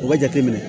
O bɛ jate minɛ